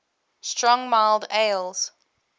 strong mild ales